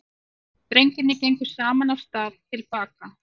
Drengirnir gengu saman af stað til baka.